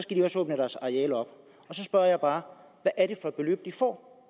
de også åbne deres arealer op så spørger jeg bare hvad er det for et beløb de får